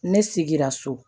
Ne sigira so